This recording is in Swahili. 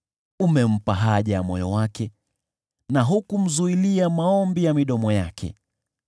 Umempa haja ya moyo wake na hukumzuilia maombi ya midomo yake.